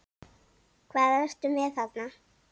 Hvað ertu með þarna?